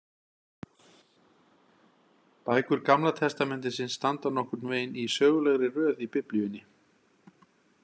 Bækur Gamla testamentisins standa nokkurn veginn í sögulegri röð í Biblíunni.